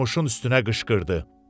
Durmuşun üstünə qışqırdı.